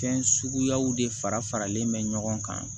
Fɛn suguyaw de fara faralen mɛ ɲɔgɔn kan